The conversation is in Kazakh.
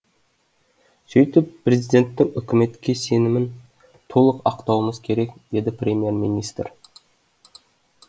сөйтіп президенттің үкіметке сенімін толық ақтауымыз керек деді премьер министр